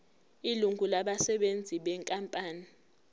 ilungu labasebenzi benkampani